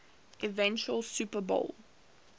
eventual super bowl